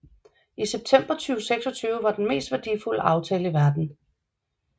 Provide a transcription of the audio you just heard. I september 2006 var det den mest værdifulde aftale i verden